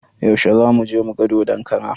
Yaushe zamuje muga dodon kara?